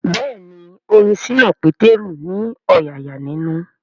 Bẹ́ẹ̀ni orin ṣínà Pétérù ní ọ̀yààyà ninu